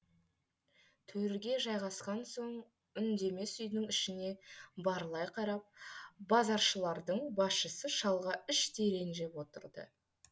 төрге жайғасқан соң үндемес үйдің ішіне барлай қарап базаршылардың басшысы шалға іштей ренжіп отырды